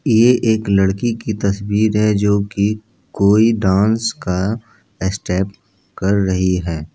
यह एक लड़की की तस्वीर है जो की कोई डांस का स्टेप कर रही है ।